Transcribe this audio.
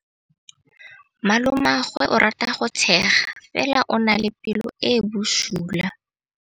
Malomagwe o rata go tshega fela o na le pelo e e bosula.